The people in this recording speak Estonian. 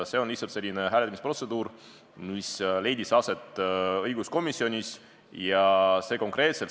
See on lihtsalt selline hääletusprotseduur, mida õiguskomisjonis rakendatakse.